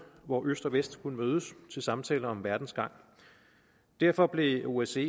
hvor øst og vest kunne mødes til samtaler om verdens gang derfor blev osce